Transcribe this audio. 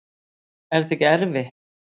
Er það ekki erfitt?